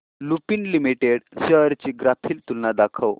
Lupin limited shares ची graphical तुलना दाखव